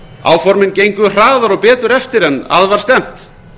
áformin gengu hraðar og betur eftir en að var stefnt